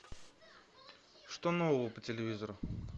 что нового по телевизору